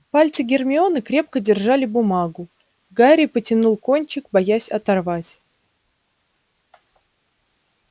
пальцы гермионы крепко держали бумагу гарри потянул кончик боясь оторвать